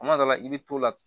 Kuma dɔ la i bɛ t'o la